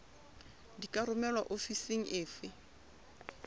di ka romelwa ofising efe